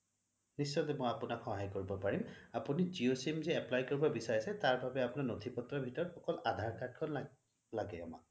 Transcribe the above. নিশ্চয় মই আপোনাক সহায় কৰিব পাৰিম আপুনি জিঅ' sim যে apply কৰিব বিচাৰিছে তাৰ বাবে আপোনাৰ নথি পত্ৰ ভিতৰত অকল আধাৰ card খন লাগে আমাক